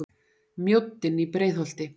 Mjóddin í Breiðholti.